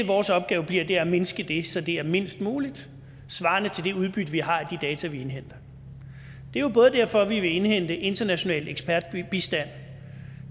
vores opgave bliver er at mindske det så det er mindst muligt svarende til det udbytte vi har af de data vi indhenter det er jo derfor vi vil indhente international ekspertbistand